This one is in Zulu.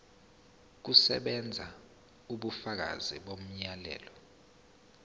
kusebenza ubufakazi bomyalelo